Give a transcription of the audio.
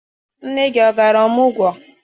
Nne gị ọ gara ọmụgwọ?